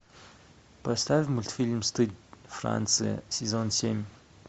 поставь мультфильм стыд франция сезон семь